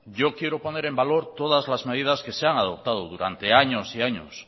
yo quiero poner en valor todas las medidas que se han adoptado durante años y años